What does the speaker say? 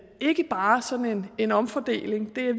ikke bare sådan en omfordeling det